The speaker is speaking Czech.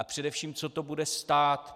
A především, co to bude stát?